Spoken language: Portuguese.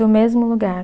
No mesmo lugar.